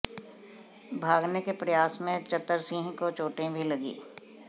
भागने के प्रयास में चतरसिंह को चोटें भी लगीं